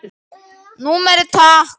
Númerið takk?